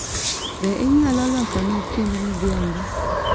Be inyalo losona chiemb midhiambo